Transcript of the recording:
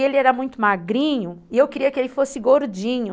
E ele era muito magrinho e eu queria que ele fosse gordinho.